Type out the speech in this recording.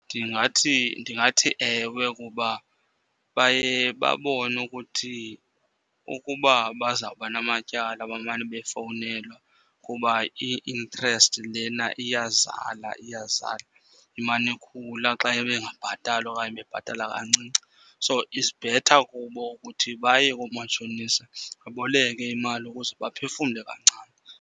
Ndingathi, ndingathi ewe. Kuba baye babone ukuthi ukuba bazawuba namatyala bamane befowunelwa kuba i-interest lena iyazala, iyazala, imane ikhula xa bengabhatali okanye bebhatala kancinci. So it's better kubo ukuthi baye koomatshonisa baboleke imali ukuze baphefumle kancane.